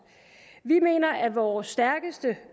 vi mener at vores stærkeste